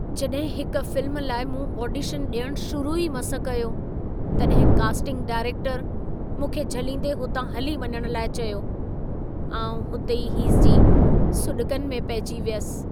जॾहिं हिक फ़िल्म लाइ मूं ऑडिशन ॾियणु शुरू ई मस कयो, तॾहिं कास्टिंग डायरेक्टर मूंखे झलींदे, हुतां हली वञण लाइ चयो। आउं हुते ई हीसिजी सुॾिकनि में पहिजी वियसि।